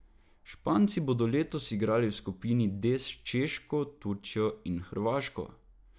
Španci bodo letos igrali v skupini D s Češko, Turčijo in Hrvaško.